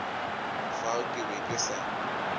fao ke be ke sa